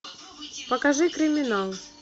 покажи криминал